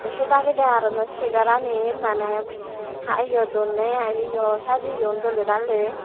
ay se dagedi aruno segaranit mane iyo donne ai yo sajiyon dole dale.